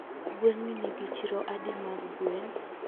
Gwengni nigi chiro adi mag gwen?